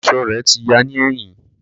Aṣọ rẹ ti ya ni ẹhin.